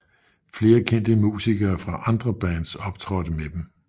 Flere kendte musikere fra andre bands optrådte med dem